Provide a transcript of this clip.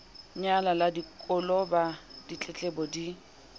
nyaya la koloba ditletlebo di